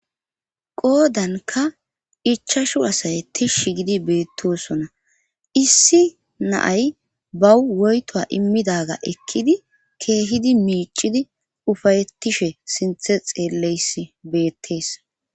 Qoodanka ichashu asay tishsh gidi beettosona issi naay bawu woyto immidaga ekkidi keehidi miicidi ufayettishe sinthe xeelleys beettees.